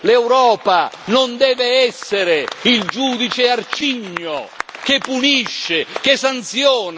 L'Europa non deve essere il giudice arcigno che punisce, che sanziona.